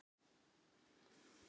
Hann mun án efa gera það.